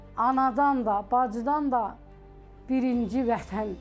Anadan da, bacıdan da birinci Vətəndir.